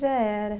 Já era.